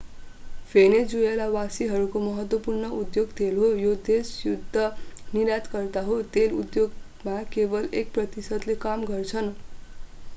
भेनेजुएलावासीहरूको महत्त्वपूर्ण उद्योग तेल हो। यो देश शुद्ध निर्यातकर्ता हो। तेल उद्योगमा केवल एक प्रतिशतले काम गर्छन्‌।